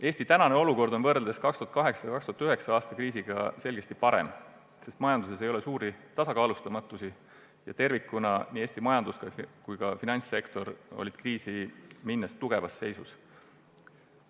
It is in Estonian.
Eesti tänane olukord on 2008.–2009. aasta kriisiga võrreldes selgesti parem, sest majanduses ei ole suurt tasakaalustamatust ja nii Eesti majandus- kui ka finantssektor olid enne kriisi tervikuna tugevas seisus.